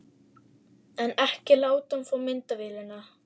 En ekki láta hann fá myndavélina!